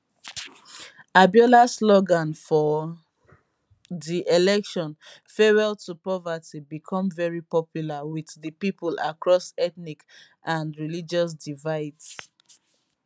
abiola slogan for di election farewell to poverty bicom very popular wit di pipo across ethnic and religious divides